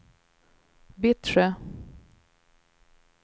Vittsjö